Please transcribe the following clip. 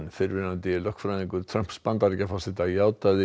fyrrverandi lögfræðingur Trumps Bandaríkjaforseta játaði